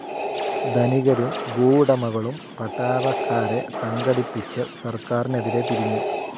ധനികരും ഭൂവുടമകളും പട്ടളക്കാരെ സംഘടിപ്പിച്ച സർക്കാരിനെതിരെ തിരിഞ്ഞു.